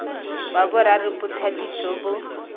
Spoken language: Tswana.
wa boraro bothati jo bo